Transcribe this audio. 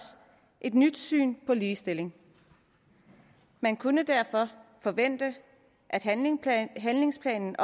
et nyt syn på ligestilling man kunne derfor forvente at handlingsplanen handlingsplanen